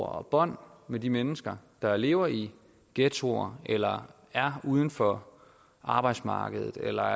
og bånd med de mennesker der lever i ghettoer eller er uden for arbejdsmarkedet eller